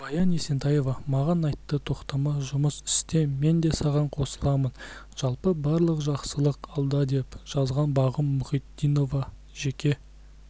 баян есентаева маған айтты тоқтама жұмыс істе мен де саған қосыламын жалпы барлық жақсылық алда деп жазған бағым мұхитдинова жеке